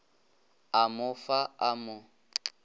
a mo fa a mo